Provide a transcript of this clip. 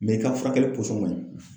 i ka furakɛli pɔsɔn man ɲi.